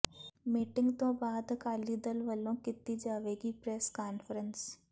meeting ਤੋਂ ਬਾਅਦ ਅਕਾਲੀ ਦਲ ਵੱਲੋਂ ਕੀਤੀ ਜਾਵੇਗੀ ਪ੍ਰੈੱਸ ਕਾਨਫਰੰਸ